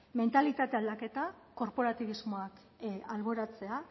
mentalitate aldaketa korporatibismoa alboratzea